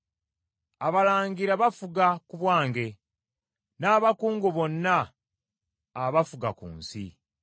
Abalangira bafuga ku bwange, n’abakungu bonna abafuga ku nsi.